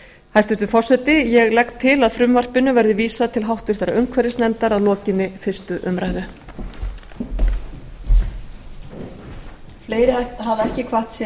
hæstvirtur forseti ég legg til að frumvarpinu verði vísað til háttvirtrar umhverfisnefndar að lokinni fyrstu umræðu